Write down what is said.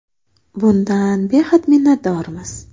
Bundan behad minnatdormiz”.